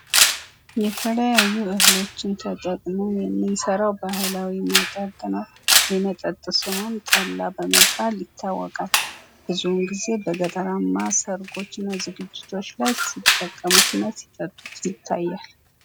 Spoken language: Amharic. የተለያዩ እህሎችን ተጠቅመን የምንሰራዉ መጠጥ ነው፤ የመጠጥ ስሙም ጠላ በመባል ይታወቃል፤ ብዙዉን ጊዜ በገጠራማ ሰርጎች ላይ እና ዝግጅቶች ላይ ሲጠቀሙት እና ሲጠጡት ይታያል።